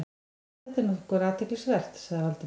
Já, þetta er nokkuð athyglisvert- sagði Valdimar.